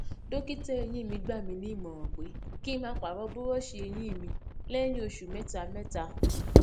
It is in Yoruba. dókítà eyín mi gbà mí ní ìmòràn pé kí n máa pààrò búróòṣì eyín mi lẹyìn oṣù méta mẹta